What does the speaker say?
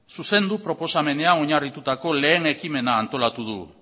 zuzendu proposamena oinarritutako lehen ekimena antolatu du